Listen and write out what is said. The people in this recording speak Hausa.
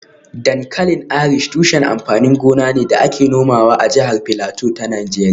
Dankalin Irish tushen amfanin gona ne da ake nomawa a jihar Filato ta Najeriya